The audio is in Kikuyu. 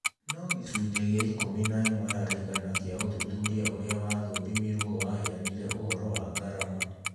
No gĩcunjĩ gĩa ikũmi na ĩmwe harĩ igana kĩa ũthuthuria ũrĩa wathũrimirwo waheanire ũhoro wa ngarama.